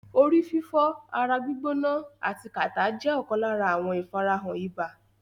Orí fífọ́, ara gbîgbóná ati kàtá jẹ́ lára àwọn ìfarahàn ibà.